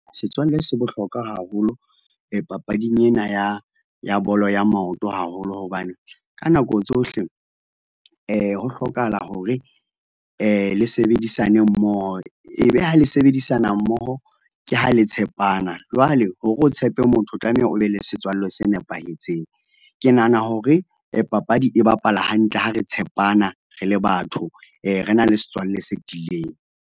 Setswalle se bohlokwa haholo, papading ena ya, ya bolo ya maoto haholo. Hobane ka nako tsohle, ho hlokahala hore le sebedisane mmoho, e be ha le sebedisana mmoho, ke ha le tshepana. Jwale hore o tshepe motho, o tlameha o be le setswalle se nepahetseng. Ke nahana hore papadi e bapala hantle, ha re tshepana, re le batho, re na le setswalle se tiileng.